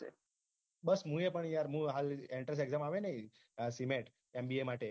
બસ મુ એ પણ યાર મુ હાલ entrance exam આવે ને cmet mba માટે